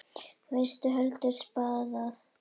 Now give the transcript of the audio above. Vestur hendir spaða.